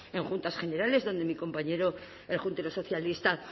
en juntas generales donde mi compañero el juntero socialista